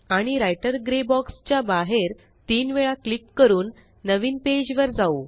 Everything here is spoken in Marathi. आणि राइटर ग्रे बॉक्स च्या बाहेर तीन वेळा क्लिक करून नवीन पेज वर जाऊ